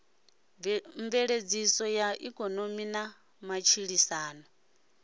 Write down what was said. mveledziso ya ikonomi na matshilisano